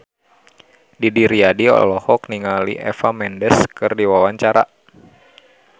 Didi Riyadi olohok ningali Eva Mendes keur diwawancara